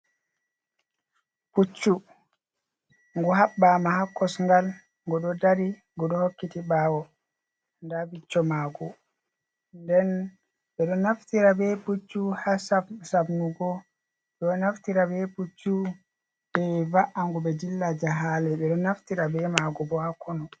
Pucchu ngu habɓɓama ha kosgal ngu ɗo dari ngu ɗo hokkiti ɓawo, nda bicco magu nden ɓe ɗo naftira be puccu ha sabnugo ɓeɗo naftira be puccu be va’angu be dillla jahale, ɓe ɗo naftora be magu bo ha konu.